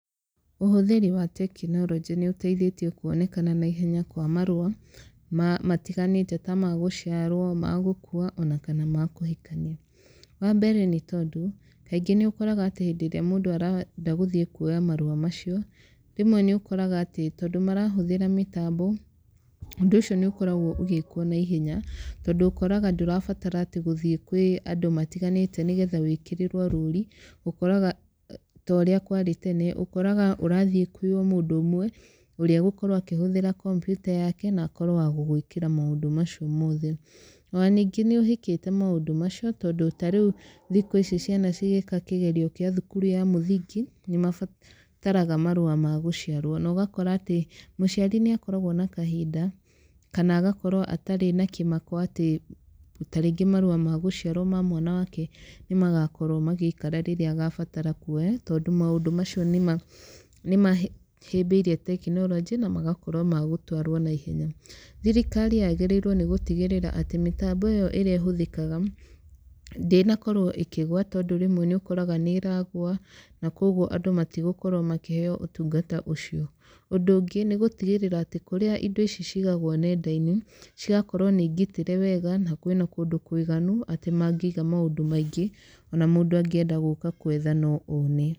Ũhũthĩri wa tekinoronjĩ nĩ ũteithĩtie kuonekana naihenya kwa marũa, matiganĩte ta ma gũciarwo, ma gũkuua, ona kana ma kũhikania. Wa mbere nĩ tondũ, kaingĩ nĩ ũkoraga atĩ hĩndĩ ĩrĩa mũndũ arenda gũthiĩ kuoya marũa macio, rĩmwe nĩ ũkoraga atĩ tondũ marahũthĩra mĩtambo, ũndũ ũcio nĩ ũkoragwo ũgĩĩkwo naihenya. Tondũ ũkoraga ndũrabatara atĩ gũthiĩ kwĩ andũ matiganĩte nĩgetha wĩkĩrĩrwo rũri, ũkoraga ta ũrĩa kwarĩ tene. Ũkoraga ũrathiĩ kwĩ o mũndũ ũmwe, ũrĩa ũgũkorwo akĩhũthĩra kompiuta yake, na akorwo wa gũgũĩkĩra maũndũ macio mothe. Ona ningĩ nĩ ũhĩkĩte maũndũ macio, tondũ ta rĩu thikũ ici ciana cigĩka kĩgerio kĩa thukuru ya mũthingi, nĩ mabataraga marũa ma gũciarwo. Na ũgakora atĩ mũciari nĩ akoragwo na kahinda, kana agakorwo atarĩ nĩ kĩmako atĩ tarĩngĩ marũa ma gũciarwo ma mwana wake nĩ magakorwo magĩikara rĩrĩa agabatara kuoya, tondũ maũndũ macio nĩ nĩ mahĩmbĩirie tekinoronjĩ, na magakorwo ma gũtwarwo naihenya. Thirikari yagĩrĩirwo nĩ gũtigĩrĩra atĩ mĩtambo ĩyo ĩrĩa ĩhũthĩkaga, ndĩnakorwo ĩkĩgũa tondũ rĩmwe nĩ ũkoraga nĩ ĩragũa, na kũguo andũ matigũkorwo makĩheo ũtungata ũcio. Ũndũ ũngĩ, nĩ gũtigĩrĩra atĩ kũrĩa indo ici cigagwo nenda-inĩ, cigakorwo nĩ ngitĩre wega, na kwĩna kũndũ kũiganu, atĩ mangĩiga maũndũ maingĩ, ona mũndũ angĩenda gũka kwetha no one.